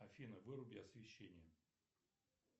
афина выруби освещение